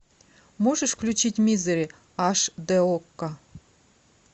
можешь включить мизери аш д окко